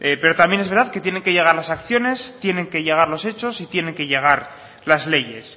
pero también es verdad que tienen que llegar las acciones tienen que llegar los hechos y tienen que llegar las leyes